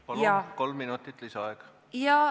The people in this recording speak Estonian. Palun, kolm minutit lisaaega!